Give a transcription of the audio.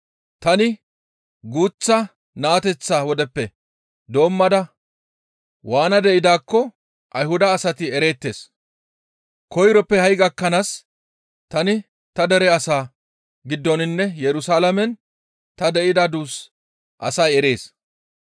«Tani guuththa naateththa wodeppe doommada waana de7idaakko Ayhuda asati ereettes; koyroppe ha7i gakkanaas tani ta dere asaa giddoninne Yerusalaamen ta de7ida duus asay erees.